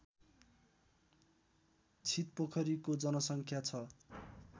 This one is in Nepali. छितपोखरीको जनसङ्ख्या छ